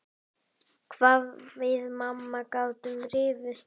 Skarð Breta verði ekki fyllt.